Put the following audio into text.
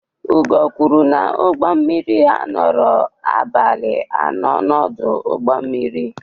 Ugo kwuru na ụgbọ mmiri ha nọrọ abalị anọ n'ọdụ ụgbọ mmiri.